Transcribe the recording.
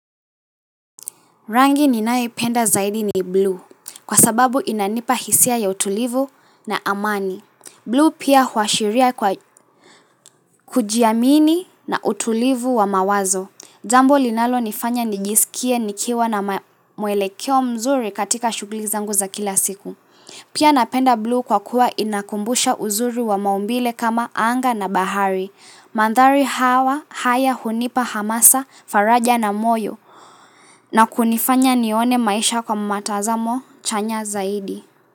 Rangi ninaipenda zaidi ni blue kwa sababu inanipa hisia ya utulivu na amani. Blue pia huashiria kwa kujiamini na utulivu wa mawazo. Jambo linalo nifanya nijisikie nikiwa na muelekeo mzuri katika shugli zangu za kila siku. Pia napenda blue kwa kuwa inakumbusha uzuri wa maumbile kama anga na bahari. Mandhari hawa haya hunipa hamasa faraja na moyo na kunifanya nione maisha kwa matazamo chanya zaidi.